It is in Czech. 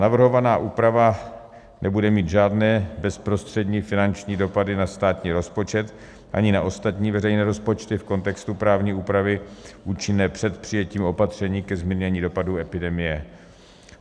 Navrhovaná úprava nebude mít žádné bezprostřední finanční dopady na státní rozpočet ani na ostatní veřejné rozpočty v kontextu právní úpravy účinné před přijetím opatření ke zmírnění dopadů epidemie.